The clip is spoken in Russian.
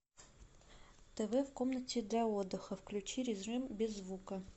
тв в комнате для отдыха включи режим без звука